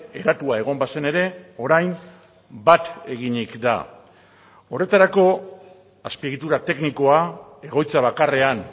eratua egon bazen ere orain bat eginik da horretarako azpiegitura teknikoa egoitza bakarrean